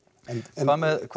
en